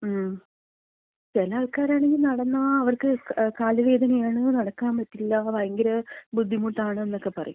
2 മ്. ചെല ആൾക്കാരാണങ്കി നടന്നാ അവർക്ക് കാലുവേദനയാണ്. നടക്കാമ്പറ്റില്ല. ഭയങ്കര ബുദ്ധിമുട്ടാണെന്നക്ക പറയും.